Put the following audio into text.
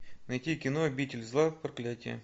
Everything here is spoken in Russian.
найти кино обитель зла проклятие